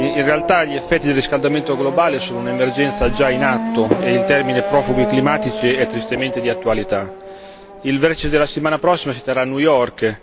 In realtà gli effetti del riscaldamento globale sono un'emergenza già in atto e il termine profughi climatici è tristemente di attualità. Il vertice della settimana prossima si terrà a New York.